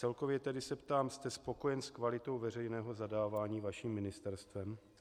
Celkově tedy se ptám: jste spokojen s kvalitou veřejného zadávání vaším ministerstvem?